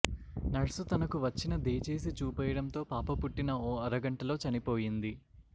nurse తనకు వచ్చిన దే చేసి చూపేయడం తో పాప పుట్టిన ఓ అరగంటలో చనిపోయింది